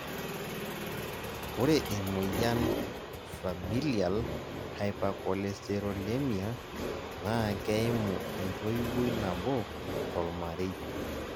ore emoyian Familial hypercholesterolemia naa keimu entoiwoi nabo tolmarei